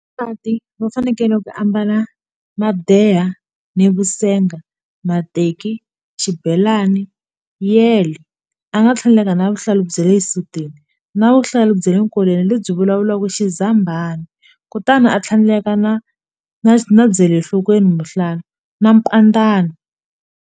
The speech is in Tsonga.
Vavasati va fanekele ku ambala madeha ni vu senga mateki xibelani yele a nga tlhandleka na vuhlalu bya le xisutini na vuhlalu bya le nkolweni lebyi vulavulaka xizambhani kutani a tlhandleka na na na byele enhlokweni mukhuhlwani na mpandzani.